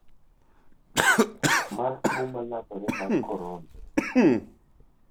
mar tuo ma landore mar korona.